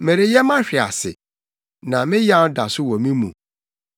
Mereyɛ mahwe ase, na me yaw da so wɔ me mu.